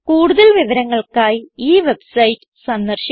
കൂടുതൽ വിവരങ്ങൾക്കായി ഈ വെബ്സൈറ്റ് സന്ദർശിക്കുക